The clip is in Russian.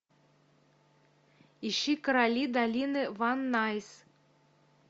ищи короли долины ван найс